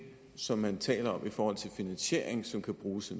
som man taler om i forhold til finansiering som kan bruges